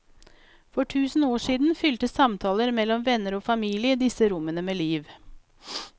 For tusen år siden fylte samtaler mellom venner og familie disse rommene med liv.